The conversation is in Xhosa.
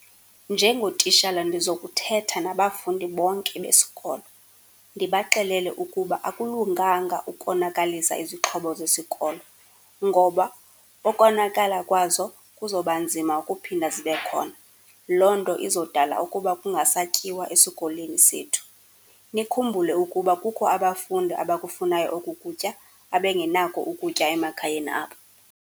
Njengotishala ndizokuthetha nabafundi bonke besikolo, ndibaxelele ukuba akulunganga ukonakalisa izixhobo zesikolo, ngoba ukonakala kwazo kuzoba nzima ukuphinda zibe khona. Loo nto izodala ukuba kungasatyiwa esikolweni sethu. Nikhumbule ukuba kukho abafundi abakufunayo oku kutya, abengenako ukutya emakhayeni abo.